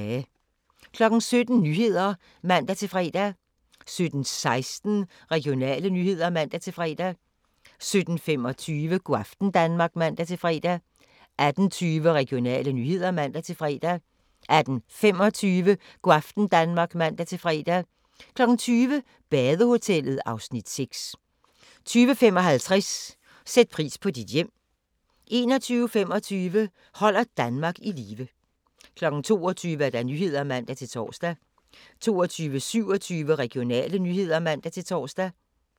17:00: Nyhederne (man-fre) 17:16: Regionale nyheder (man-fre) 17:25: Go' aften Danmark (man-fre) 18:20: Regionale nyheder (man-fre) 18:25: Go' aften Danmark (man-fre) 20:00: Badehotellet (Afs. 6) 20:55: Sæt pris på dit hjem 21:25: Holder Danmark i live 22:00: Nyhederne (man-tor) 22:27: Regionale nyheder (man-tor)